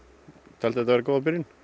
taldi þetta vera góða byrjun